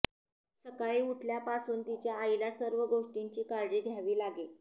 सकाळी उठल्यापासून तिच्या आईला सर्व गोष्टींची काळजी घ्यावी लागे